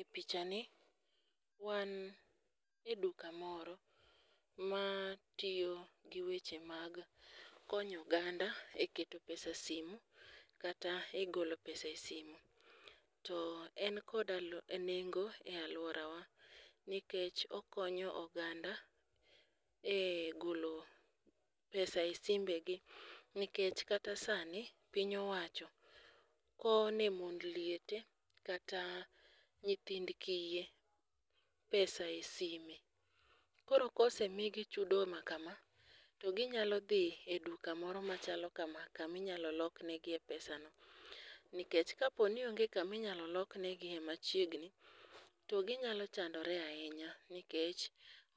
E picha ni wan e duka moro ma tiyo gi weche mag konyo oganda e keto pesa e simu kata e golo pesa e simo . To en kod nengo e lauorawa nikech okonyo oganda e golo pesa e simbe gi nikech kata sani piny owacho kowo ne mond liete kata nyithind kiye pesa e sime. Koro kosemigi chudo ma kama to ginyalo dhi e duka moro machalo kama kami nyalo loknegie pesa no nikech kaponi onge kagio naylp loknegie machiegni to ginyalo chandore ahinya nikech